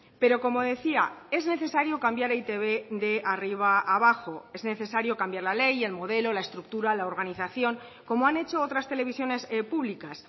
pero como decía es necesario cambiar e i te be de arriba abajo es necesario cambiar la ley el modelo la estructura la organización como han hecho otras televisiones públicas